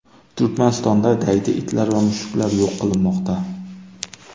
Turkmanistonda daydi itlar va mushuklar yo‘q qilinmoqda.